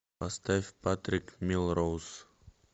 поставь патрик мелроуз